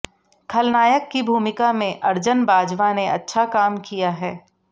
खलनायक की भूमिका में अर्जन बाजवा ने अच्छा काम किया है